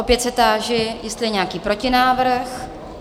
Opět se táži, jestli je nějaký protinávrh?